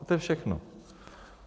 A to je všechno.